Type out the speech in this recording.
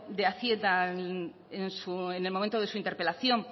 de hacienda en el momento de su interpelación